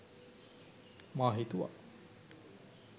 මා හිතුවා